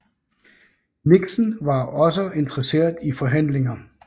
Nixon var også interesseret i forhandlinger